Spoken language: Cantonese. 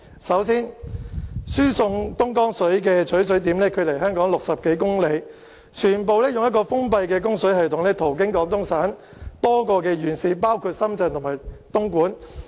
首先，輸港東江水的取水點距離香港60多公里，全部使用封閉的供水系統途經廣東省多個縣市，包括深圳和東莞。